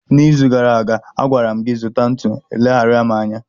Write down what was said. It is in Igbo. n'izu gara aga, a gwara m gị, zụta ntu, ị leghaara m anya